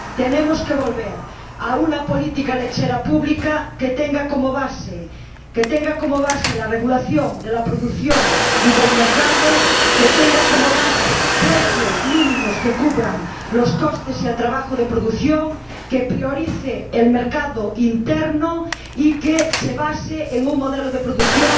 Tenemos que volver a una política lechera pública que tenga como base la regulación de la producción y del mercado, que tenga como base precios mínimos que cubran los costes y el trabajo de producción, que priorice el mercado interno y que se base en un modelo de producción